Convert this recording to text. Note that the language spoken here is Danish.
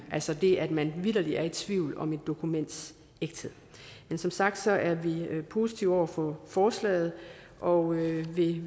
altså det at man vitterlig er i tvivl om et dokuments ægthed men som sagt er vi positive over for forslaget og vil